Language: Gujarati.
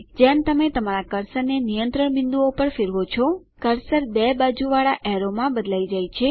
જેમ તમે તમારા કર્સરને નિયંત્રણ બિંદુઓ પર ફેરવો છો કર્સર બે બાજુવાળા એરોમાં બદલી જાય છે